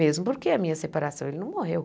Mesmo porque a minha separação, ele não morreu.